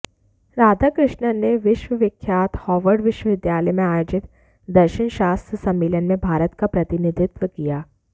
राधाकृष्णन ने विश्वविख्यात हार्वर्ड विश्वविद्यालय में आयोजित दर्शनशास्त्र सम्मेलन में भारत का प्रतिनिधित्व किया